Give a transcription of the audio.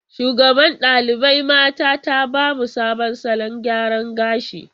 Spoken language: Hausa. Shugaban ɗalibai mata ta ba mu sabon salon gyara gashi.